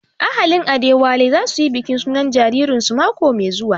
Ahalin Adewale za su yi bikin sunan jaririn su mako mai zuwa